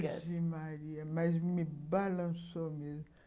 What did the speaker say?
Virgem Maria, mas me balançou mesmo.